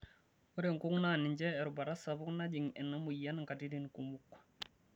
Ore nkung' naa ninche erubata sapuk najing' ena moyian nkatitin kumok.